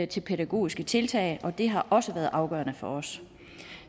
til pædagogiske tiltag og det har også været afgørende for os